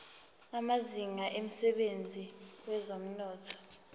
amazinga emsebenzini wezomnotho